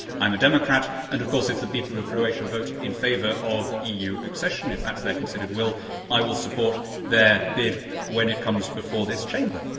but I am a democrat, and of course, if the people of Croatia vote in favour of EU accession, if that is their considered will, then I will support their bid when it comes before this Chamber.